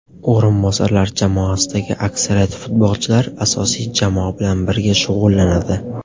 O‘rinbosarlar jamoasidagi aksariyat futbolchilar asosiy jamoa bilan birga shug‘ullanadi.